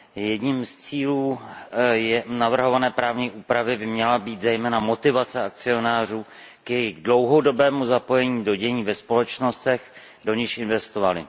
Jedním z cílů navrhované právní úpravy by měla být zejména motivace akcionářů k jejich dlouhodobému zapojení do dění ve společnostech, do nichž investovali.